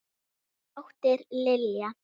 Þín dóttir, Lilja.